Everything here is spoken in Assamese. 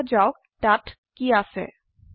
দেখা যাওক তাত কী আছে